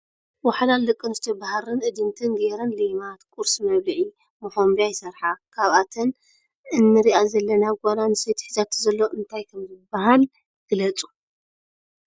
ወሓላሉ ደቂ ኣንስትዮ ብሃርን እድንትን ገይረን ሌማት ፣ ቁርሲ መብልዒ ፣ መኮንብያ ይስርሓ ። ካብኣተን እንሪ ዘለና ጓል ኣንስተይቲ ሒዛቶ ዘሎ እንታይ ከም ዝባሃል ግለፁ ?